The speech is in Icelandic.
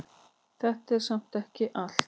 Þetta er samt ekki allt.